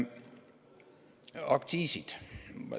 Aktsiisid.